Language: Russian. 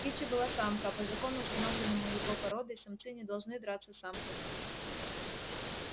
кичи была самка а по закону установленному его породой самцы не должны драться с самками